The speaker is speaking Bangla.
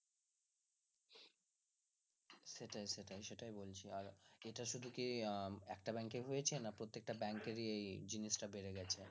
সেটাই সেটাই সেটাই বলছি আর এটা শুধু কি একটা bank হয়েছে নাকি প্রত্যেকটা bank এর ই এই জিনিসটা বেড়ে গেছে